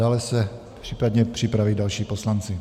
Dále se případně připraví další poslanci.